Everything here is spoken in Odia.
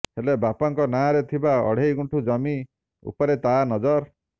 ହେଲେ ବାପାଙ୍କ ନାଁରେ ଥିବା ଅଢେଇ ଗୁଣ୍ଠ ଜମି ଉପରେ ତା ନଜର